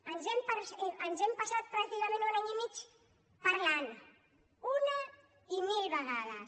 ens hem passat pràcticament un any i mig parlant ne una i mil vegades